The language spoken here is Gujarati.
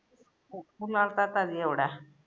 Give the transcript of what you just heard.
ફુલાવતા તા જ એવડા